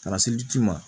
Ka na se ji ma